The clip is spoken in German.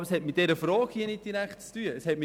Aber das hat mit dieser Frage nicht direkt zu tun.